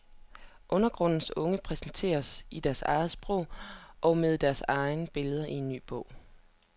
Undergrundens unge præsenteres i deres eget sprog og med deres egne billeder i ny bog.